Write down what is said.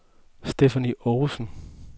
Stephanie Ovesen